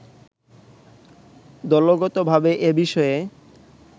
দলগতভাবে এ বিষয়ে